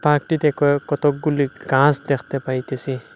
পাকর্টিতে কয়োক-কতকগুলি গাছ দেখতে পাইতেসি।